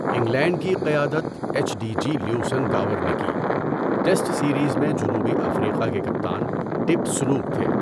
England کی قیادت H D G Leveson Gower نے کی، ٹیسٹ سیریز میں جنوبی افریقہ کے کپتان ٹِپ سنوک تھے۔